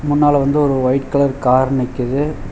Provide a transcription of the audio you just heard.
முன்னால வந்து ஒரு ஒயிட் கலர் கார் நிக்குது.